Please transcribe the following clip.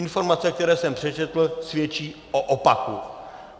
Informace, které jsem přečetl, svědčí o opaku.